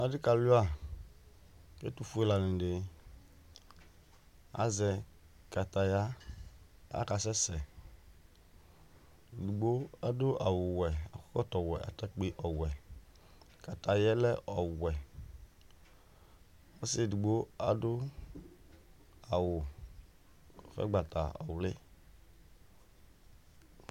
adɩ ka luia, kʊ ɛtufue ɔlɔdɩ azɛ wohe kʊ akasɛsɛ, ɛdigbo adʊ awʊwɛ, ɛkɔtɔwɛ nʊ atakpiwɛ, wohe bɩ lɛ ɔwɛ, ɔsi edigbo adʊ awʊ ʊgbatawla